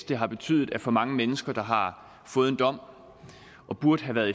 det har betydet at for mange mennesker der har fået en dom og burde have været